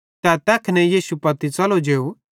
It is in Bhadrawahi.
तै तैखने यीशु पत्ती च़लो जेव